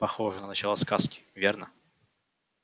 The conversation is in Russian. похоже на начало сказки верно